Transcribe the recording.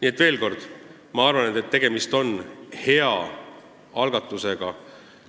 Nii et veel kord: ma arvan, et tegemist on hea algatusega,